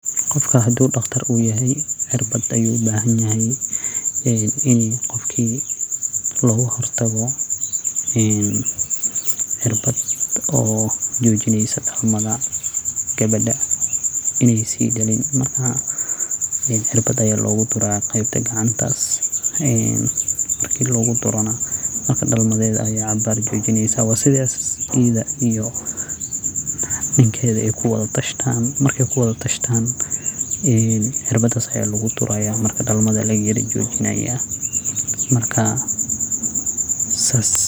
Qofka hadu daktar u yahay cirbad ayu uabahanyahay ee in qofki laguhortago cirbad ee mujinayso dalmada gawaada inay si daliin cirbad aya lagudura qeebta gacanta midas marki laguduro na dalmadheed ayeey cabar jojinaysa waa sidas ayada iyo ninkeda ay kuwadha tashtaan marki kuwada tashtaan een cirbadas aya lagudureya marka dalmadha aya layar joojineya marka wa saas.